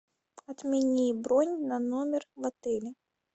отмени бронь на номер в отеле